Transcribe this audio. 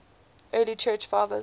early church fathers